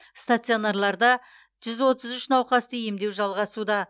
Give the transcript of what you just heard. стационарларда жүз отыз үш науқасты емдеу жалғасуда